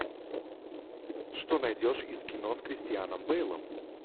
что найдешь из кино с кристианом бейлом